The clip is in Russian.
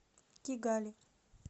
кигали